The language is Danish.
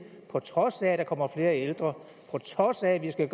på trods af at der kommer flere ældre på trods af at vi skal